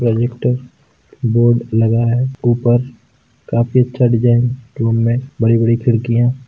projector board लगा है ऊपर काफी अच्छा डिजाइन रूम मे बड़ी-बड़ी खिड़किया--